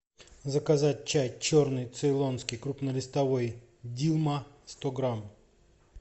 заказать чай черный цейлонский крупнолистовой дилма сто грамм